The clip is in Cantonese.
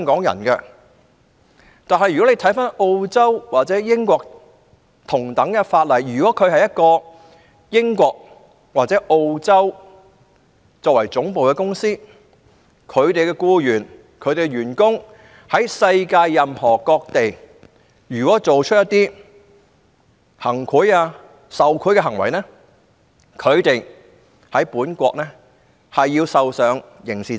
然而，根據澳洲或英國的同等法例，如果一間澳洲或英國公司的僱員在世界任何地方作出行賄或受賄行為，則他們在本國將要承擔刑事責任。